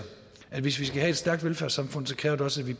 at hvis vi skal have et stærkt velfærdssamfund kræver det også at vi